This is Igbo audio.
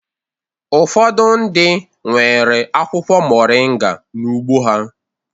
Ụfọdụ ndị nwere akwụkwọ moringa n'ugbo ha